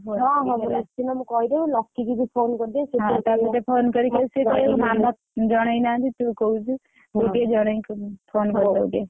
ହଁ ହଁ ନିଶ୍ଚିନ୍ତ ମୁଁ କହିଦେବି ଲକି କି ତୁ phone କରିଦବୁ ହେଲା ଜଣେଇ ନାହାନ୍ତି ତୁ କହୁଛୁ ।